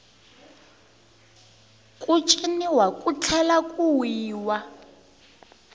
ku ciniwa ku tlhela ku wiwa